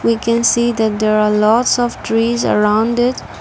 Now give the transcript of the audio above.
we can see that there are lots of trees around it.